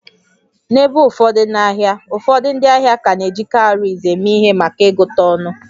N'ebe ụfọdụ n'ahịa, ụfọdụ ndị ahịa ka na-eji cowries eme ihe maka ịgụta ọnụ